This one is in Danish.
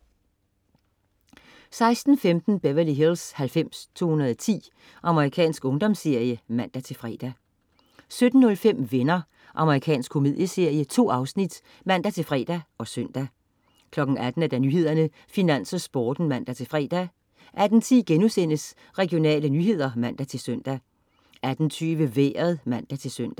16.15 Beverly Hills 90210. Amerikansk ungdomsserie (man-fre) 17.05 Venner. Amerikansk komedieserie. 2 afsnit (man-fre og søn) 18.00 Nyhederne, Finans og Sporten (man-fre) 18.10 Regionale nyheder* (man-søn) 18.20 Vejret (man-søn)